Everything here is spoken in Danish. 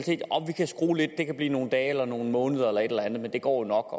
skrue lidt her kan blive nogle dage eller nogle måneder eller et eller andet men det går jo nok